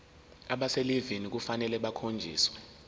abaselivini kufanele bakhonjiswe